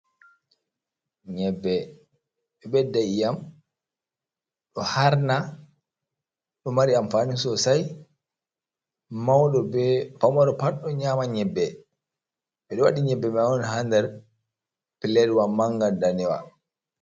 Nyebbe, ɗo ɓedda iyam, ɗo harna, ɗo mari amfaani soosay, mawɗo bee famaro pat ɗo nyaama nyebbe. Ɓe ɗo waɗi nyebbe man on haa nder Pilelwa mannga ndanewa.